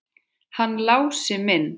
Hann Lási minn!